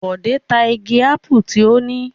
Bọ̀dé ta igi ápù tí ó ní?